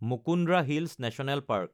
Mukundra hills national park